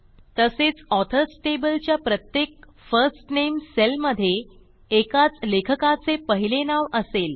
तसेचAuthors table च्या प्रत्येक first name cell मधे एकाच लेखकाचे पहिले नाव असेल